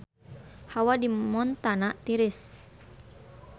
Hawa di Montana tiris